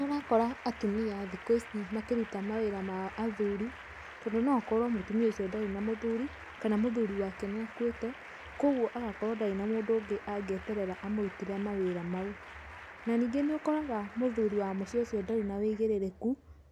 Nĩ ũrakora atumia thikũ ici makĩruta mawĩra ma athuri tondu no ũkorwo mutumia ũcio ndarĩ na mũthuri kana mũthuri wake nĩakuĩte kwoguo agakorwo ndarĩ na mũndũ ũngĩ angĩeterera amũrutĩre mawĩra mau. Na ningĩ nĩũkoraga mũthuri wa mũciĩ ũcio ndarĩ na ũigĩrĩrĩku